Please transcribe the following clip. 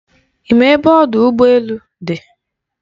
Ị ma ebe ọdụ ụgbọ elu dị?